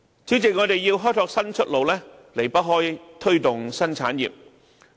主席，我們要開拓新出路，離不開推動新產業。